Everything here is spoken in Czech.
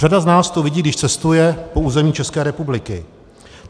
Řada z nás to vidí, když cestuje po území České republiky.